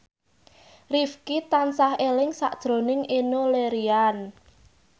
Rifqi tansah eling sakjroning Enno Lerian